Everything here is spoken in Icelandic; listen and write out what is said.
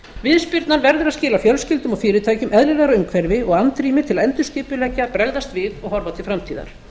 viðspyrnan verður að skila fjölskyldum og fyrirtækjum eðlilegra umhverfi og andrými til að endurskipuleggja bregðast við og horfa til framtíðar